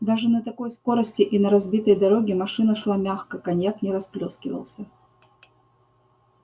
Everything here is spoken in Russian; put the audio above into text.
даже на такой скорости и на разбитой дороге машина шла мягко коньяк не расплёскивался